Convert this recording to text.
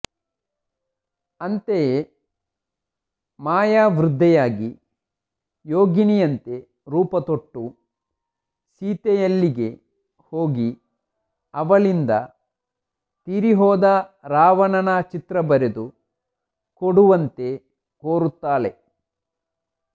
ಅಂತೆಯೆ ಮಾಯಾವೃದ್ಧೆಯಾಗಿ ಯೋಗಿನಿಯಂತೆ ರೂಪುತೊಟ್ಟು ಸೀತೆಯಲ್ಲಿಗೆ ಹೋಗಿ ಅವಳಿಂದ ತೀರಿಹೋದ ರಾವಣನ ಚಿತ್ರಬರೆದು ಕೊಡುವಂತೆ ಕೋರುತ್ತಾಳೆ